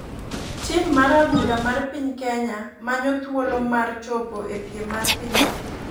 Tima mar adhula mar piny Kenya manyo thuolo mar chopo e piem mar piny Afrika.